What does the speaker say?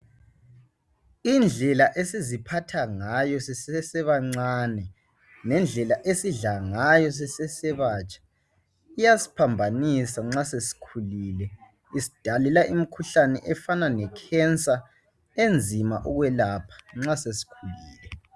Indlela esiziphatha ngayo sisesebancani lendlela esidla ngayo sisesebatsha iyasiphambanisa nxa sesikhulile Isidalela imikhuhlane efana lekhensa enzima ukwelapha nxa sesikhulile